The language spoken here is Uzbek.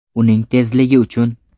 Uning tezligi uchun.